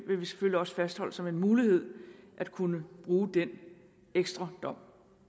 vil selvfølgelig også fastholde det som en mulighed at kunne bruge den ekstra dom